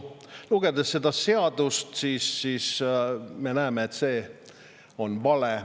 Lugedes seda seadust me aga näeme, et see on vale.